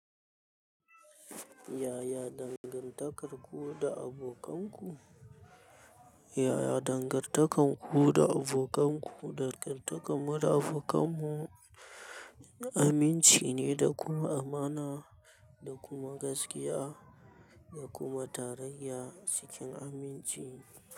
Yaya dangantakarku da abokanku? Yaya dangantarku da abokanku, dangantakar mu da abokan mu aminci ne, da kuma amana, da kuma gaskiya, da kuma tarayya cikin aminci.